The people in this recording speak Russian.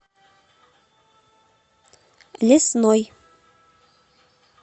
лесной